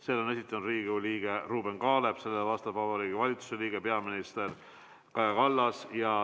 Selle on esitanud Riigikogu liige Ruuben Kaalep, vastab Vabariigi Valitsuse liige peaminister Kaja Kallas.